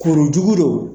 Kuru jugu don